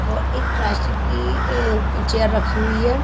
और एक प्लास्टिक की अ चेयर रखी हुई है।